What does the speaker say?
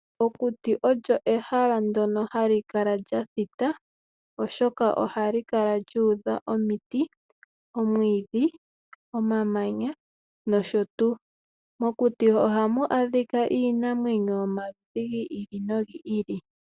Okuti olyo ehala ndyono hali kala lya thita, oshoka ohali kala lyuudha omiti, omwiidhi ,omamanya nosho tuu. Mokuti ohamu adhika iinamwenyo yomaludhi gi ili nogi ili.